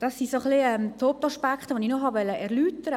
Das sind die Hauptaspekte, die ich erläutern wollte.